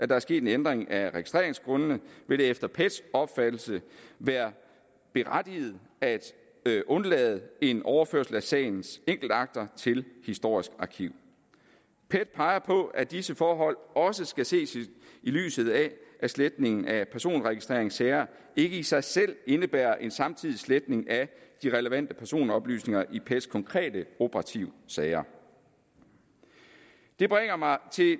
der er sket en ændring af registreringsgrundene vil det efter pets opfattelse være berettiget at undlade en overførsel af sagens enkeltakter til historisk arkiv pet peger på at disse forhold også skal ses i lyset af at sletning af personregistreringssager ikke i sig selv indebærer en samtidig sletning af de relevante personoplysninger i pets konkrete operative sager det bringer mig til